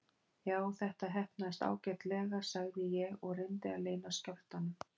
Já, þetta heppnaðist ágætlega sagði ég og reyndi að leyna skjálftanum.